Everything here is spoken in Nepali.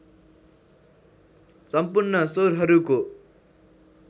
सम्पूर्ण स्वरहरूको